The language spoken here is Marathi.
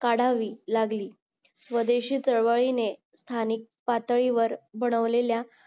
काढावी लागली स्वदेशी चळवळीने स्थानिक पातळीवर बनवलेल्या